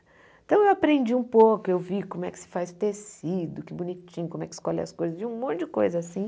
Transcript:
Então eu aprendi um pouco, eu vi como é que se faz tecido, que bonitinho, como é que escolhe as coisas, um monte de coisa assim.